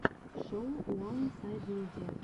шоу уансайдмидиа